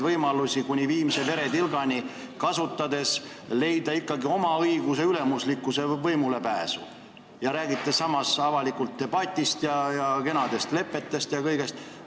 Te tahate kuni viimse veretilgani erinevaid võimalusi kasutades leida ikkagi võimaluse oma õiguse ülemuslikkuse võimulepääsuks, samas räägite avalikust debatist ja kenadest lepetest ja kõigest.